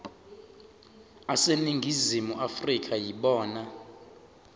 aseningizimu afrika yibona